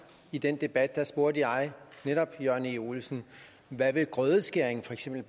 i den debat netop jørgen e olesen hvad grødeskæring for eksempel